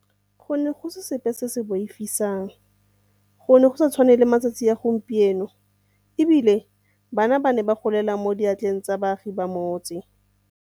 Go ne go se sepe se se boifiwang, go ne go sa tshwane le matsatsi a gompieno, e bile bana ba ne ba golela mo diatleng tsa baagi ba motse.